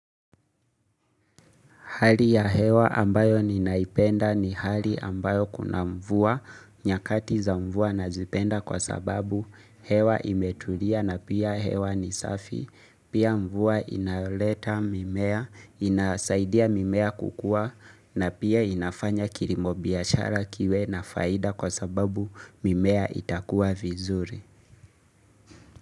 Hali ya hewa ambayo ninaipenda ni hali ambayo kuna mvua, nyakati za mvua na zipenda kwa sababu hewa imetulia na pia hewa ni safi. Pia mvua inayoleta mimea, inasaidia mimea kukua na pia inafanya kirimobiashara kiwe na faida kwa sababu mimea itakuwa vizuri.